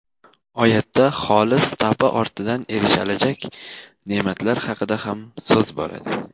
Oyatda xolis tavba ortidan erishilajak ne’matlar haqida ham so‘z boradi.